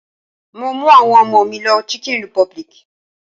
Mo mú àwọn ọmọ mi lọ chicken republic.